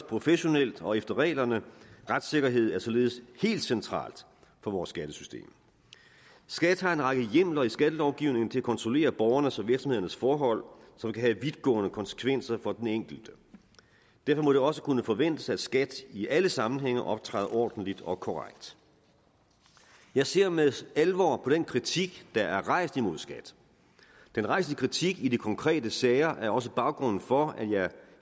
professionelt og efter reglerne retssikkerhed er således helt centralt for vores skattesystem skat har en række hjemler i skattelovgivningen til at kontrollere borgernes og virksomhedernes forhold som kan have vidtgående konsekvenser for den enkelte derfor må det også kunne forventes at skat i alle sammenhænge optræder ordentligt og korrekt jeg ser med alvor på den kritik der er rejst imod skat den rejste kritik i de konkrete sager er også baggrunden for at jeg